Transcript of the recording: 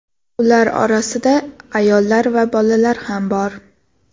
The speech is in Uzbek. Ular orasida ayollar va bolalar ham bor.